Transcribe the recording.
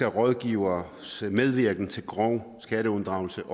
rådgivning om skatteunddragelse